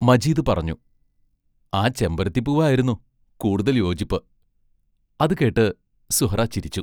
മജീദ് പറഞ്ഞു: ആ ചെമ്പരത്തിപ്പൂവായിരുന്നു കൂടുതൽ യോജിപ്പ് അതു കേട്ട് സുഹ്റാ ചിരിച്ചു.